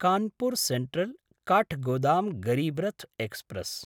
Kanpur सेन्ट्रल्–काठगोदाम् Garib Rath express